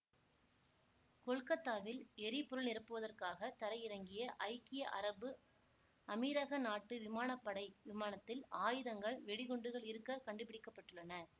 கொல்கத்தாவில் எரிபொருள் நிரப்புவதற்காக தரையிறங்கிய ஐக்கிய அரபு அமீரக நாட்டு விமான படை விமானத்தில் ஆயுதங்கள் வெடிகுண்டுகள் இருக்க கண்டுபிடிக்க பட்டுள்ளன